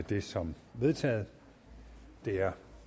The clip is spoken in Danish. det som vedtaget det er